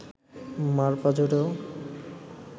মা’র পাঁজরেও